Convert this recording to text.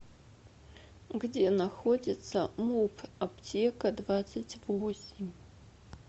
где находится муп аптека двадцать восемь